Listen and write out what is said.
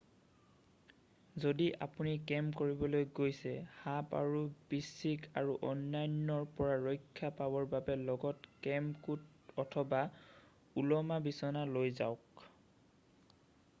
যদি আপুনি কেম্প কৰিবলৈ গৈছে সাপ আৰু বিশ্চিক আৰু অন্যান্যৰ পৰা ৰক্ষা পাবৰ বাবে লগত কেম্প কোট অথবা ওলোমা বিচনা লৈ যাওক